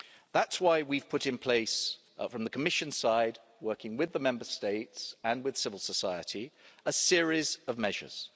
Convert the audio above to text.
That's why we've put in place from the Commission's side, working with the Member States and with civil society a series of measures.